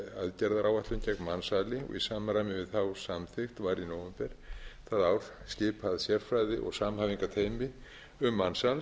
aðgerðaáætlun gegn mansali og í samræmi við þá samþykkt var í nóvember það ár skipað sérfræði og samhæfingarteymi um mansal